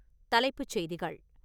தலைப்புச்செய்திகள்